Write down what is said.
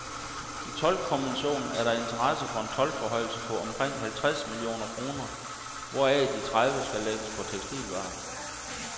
I toldkommissionen er der interesse for en toldforhøjelse på omkring halvtreds millioner kroner, hvoraf de tredive skal lægges på tekstilvarer.